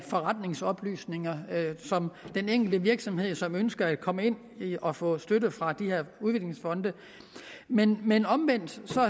forretningsoplysninger om den enkelte virksomhed som ønsker at komme ind og få støtte fra de her udviklingsfonde men men omvendt